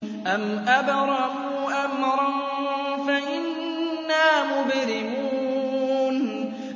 أَمْ أَبْرَمُوا أَمْرًا فَإِنَّا مُبْرِمُونَ